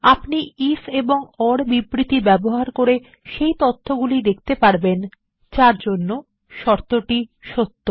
আপনি if and or বিবৃতি ব্যবহার করে সেই তথ্যটি দেখতে পারবেন যার জন্য শর্তটি সত্য